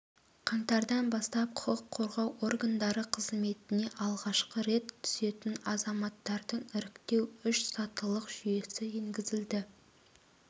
қаңтардан бастап құқық қорғау органдары қызметіне алғашқы рет түсетін азаматтардың іріктеу үш сатылық жүйесі енгізілді